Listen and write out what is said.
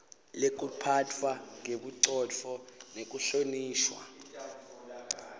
lekuphatfwa ngebucotfo nekuhlonishwa